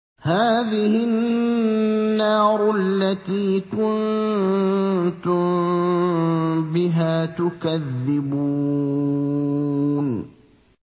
هَٰذِهِ النَّارُ الَّتِي كُنتُم بِهَا تُكَذِّبُونَ